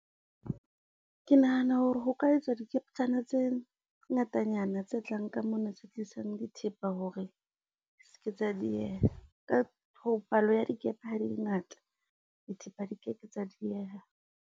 Ke nahana hore ho ka etswa dikeptjana tse ngatanyana tse tlang ka mona, tse tlisang dithepa, hore se ke tsa dieha palo ya dikepe ha e le ngata, dithepa di keke tsa dieha.